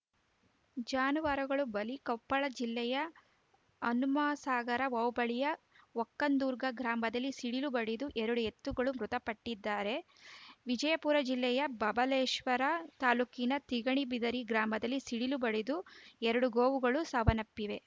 ಜಾನುವಾರುಗಳು ಬಲಿ ಕೊಪ್ಪಳ ಜಿಲ್ಲೆಯ ಹನುಮಸಾಗರ ಹೋಬಳಿಯ ವಕ್ಕಂದುರ್ಗಾ ಗ್ರಾಮದಲ್ಲಿ ಸಿಡಿಲು ಬಡಿದು ಎರಡು ಎತ್ತುಗಳು ಮೃತಪಟ್ಟಿದ್ದರೆ ವಿಜಯಪುರ ಜಿಲ್ಲೆಯ ಬಬಲೇಶ್ವರ ತಾಲೂಕಿನ ತಿಗಣಿಬಿದರಿ ಗ್ರಾಮದಲ್ಲಿ ಸಿಡಿಲು ಬಡಿದು ಎರಡು ಗೋವುಗಳು ಸಾವನ್ನಪ್ಪಿವೆ